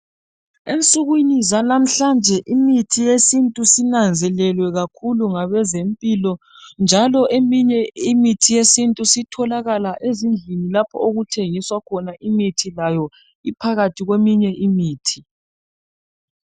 ensukwini zalamuhlanje imithi yesintu isinanzelelwe kakhulu ngabezempilo njalo eminy imithi yesintu isitholakala ezindlini lapho okuthengiswa khona imithi layo iphakathi kweminye imithi